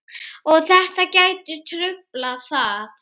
Og þetta gæti truflað það?